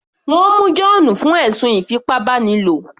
Wọ́n mú John fún ẹ̀sùn ìfipábánilo